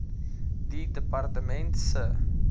die departement se